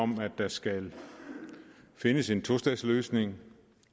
om at der skal findes en tostatsløsning